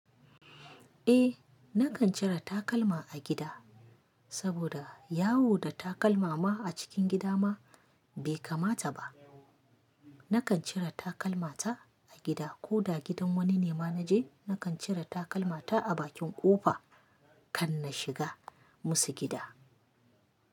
Eh nakan cire takalma a gida, saboda yawo da takalma ma a cikin gida ma bai kamata ba. Nakan cire takalmata a gida ko da gidan wani ne ma naje nakan cire takalmata a bakin ƙofa kan na shiga musu gida.